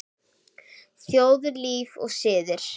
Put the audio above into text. Þjóðlíf og siðir